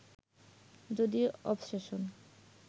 যদি অবসেশন